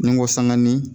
Ni n ko sangani